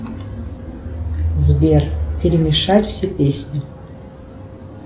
сбер перемешать все песни